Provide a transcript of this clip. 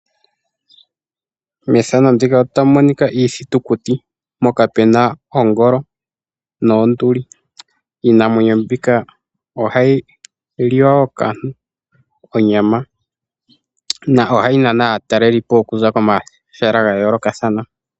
Methano ndika otamu monika iithitukuti , mpoka pena ongolo noonduli . Iinamwenyo mbika ohayi liwa woo kaantu onyama na ohayi nana aatalelipo okuza komahala ga yoolokathana.